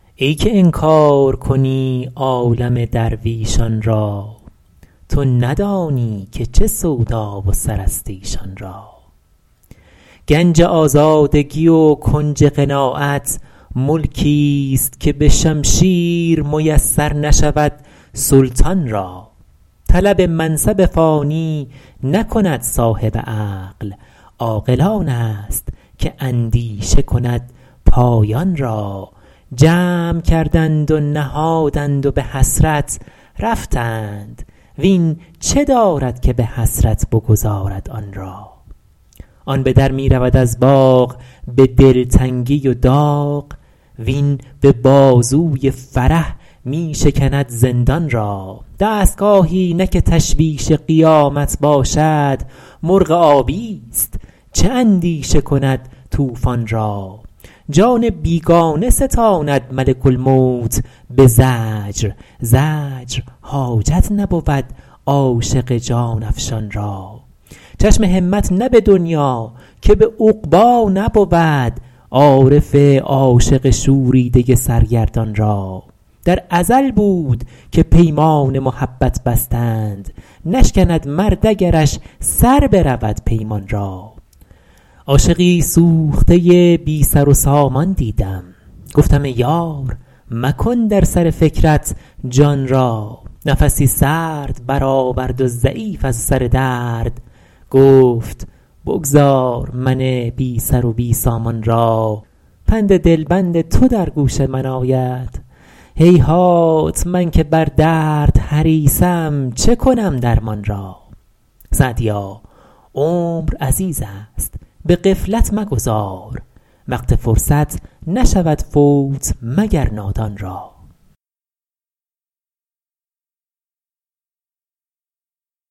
ای که انکار کنی عالم درویشان را تو ندانی که چه سودا و سر است ایشان را گنج آزادگی و کنج قناعت ملکیست که به شمشیر میسر نشود سلطان را طلب منصب فانی نکند صاحب عقل عاقل آن است که اندیشه کند پایان را جمع کردند و نهادند و به حسرت رفتند وین چه دارد که به حسرت بگذارد آن را آن به در می رود از باغ به دلتنگی و داغ وین به بازوی فرح می شکند زندان را دستگاهی نه که تشویش قیامت باشد مرغ آبیست چه اندیشه کند طوفان را جان بیگانه ستاند ملک الموت به زجر زجر حاجت نبود عاشق جان افشان را چشم همت نه به دنیا که به عقبی نبود عارف عاشق شوریده سرگردان را در ازل بود که پیمان محبت بستند نشکند مرد اگرش سر برود پیمان را عاشقی سوخته بی سر و سامان دیدم گفتم ای یار مکن در سر فکرت جان را نفسی سرد برآورد و ضعیف از سر درد گفت بگذار من بی سر و بی سامان را پند دلبند تو در گوش من آید هیهات من که بر درد حریصم چه کنم درمان را سعدیا عمر عزیز است به غفلت مگذار وقت فرصت نشود فوت مگر نادان را